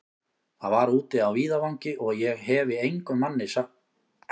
Það var úti á víðavangi, og ég hefi engum manni frá því sagt.